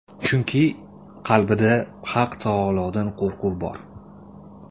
Chunki, qalbida Haq taolodan qo‘rquv bor.